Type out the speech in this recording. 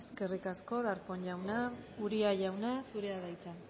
eskerrik asko darpón jauna uria jauna zurea da hitza